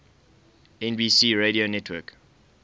nbc radio network